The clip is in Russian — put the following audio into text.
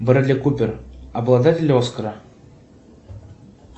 брэдли купер обладатель оскара